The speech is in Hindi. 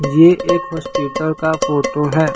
ये एक हॉस्पिटल का फोटो है।